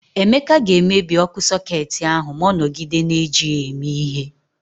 Emeka ga-emebi ọkụ sọketi ahụ ma ọ nọgide na-eji ya eme ihe.